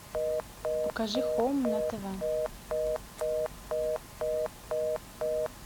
покажи хоум на тв